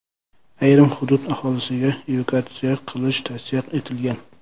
Ayrim hudud aholisiga evakuatsiya qilish tavsiya etilgan.